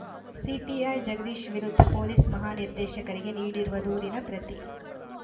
CPI Jagadish ವಿರುದ್ಧ police ಮಹಾನಿರ್ದೇಶಕರಿಗೆ ನೀಡಿರುವ ದೂರಿನ ಪ್ರತಿ